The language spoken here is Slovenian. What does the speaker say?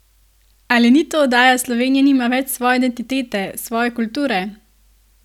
Ali ni to oddaja Slovenija nima več svoje identitete, svoje kulture?